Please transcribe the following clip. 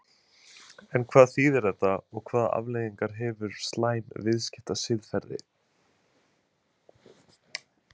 En hvað þýðir þetta og hvaða afleiðingar hefur slæmt viðskiptasiðferði?